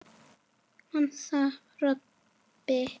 másaði Kobbi.